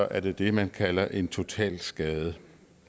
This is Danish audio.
er det det man kalder en totalskade